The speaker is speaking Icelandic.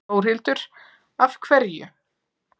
Þórhildur: Af hverju?